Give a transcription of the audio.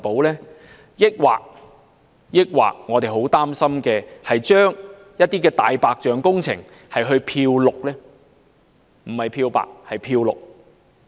還是會出現我們很擔心的情況，將一些"大白象"工程"漂綠"——不是漂白，而是"漂綠"？